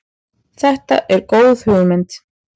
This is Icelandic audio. Þetta er góð hugmynd.